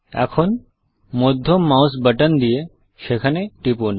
এখন মধ্যম mouse button দিয়ে সেখানে টিপুন